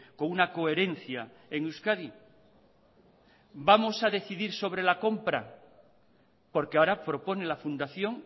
con una coherencia en euskadi vamos a decidir sobre la compra porque ahora propone la fundación